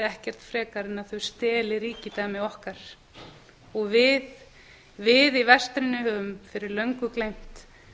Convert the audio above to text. ekkert frekar en að þau steli ríkidæmi okkar og við í vestrinu höfum fyrir löngu gleymt